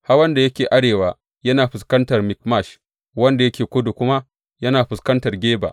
Hawan da yake arewa yana fuskantar Mikmash, wanda yake kudu kuma yana fuskantar Geba.